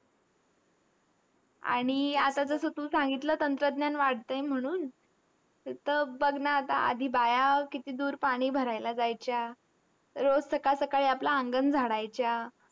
आणि आता जसं तू सांगितलं, तंत्रज्ञान वाढतंय म्हणून. त बघ ना आता, आधी बाया किती दूर पाणी भरायला जायच्या, रोज सकाळ सकाळी आपलं अंगण झाडायच्या.